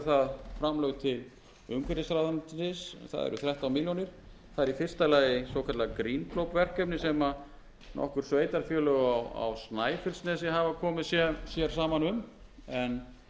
það eru þrettán milljónir það er í fyrsta lagi hið svokallaða green globe verkefni sem nokkur sveitarfélög á snæfellsnesi hafa komið sér saman um þetta